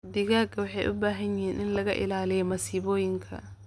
Digaagga waxay u baahan yihiin in laga ilaaliyo masiibooyinka.